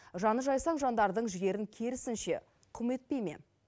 жаны жайсаң жандардың жігерін керісінше құм етпей ме